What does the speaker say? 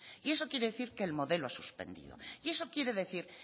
y eso quiere decir que el modelo ha suspendido y eso quiere decir